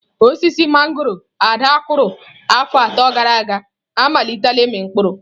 Osisi mangọrọ Ada kụrụ afọ atọ gara aga amalitela ịmị mkpụrụ.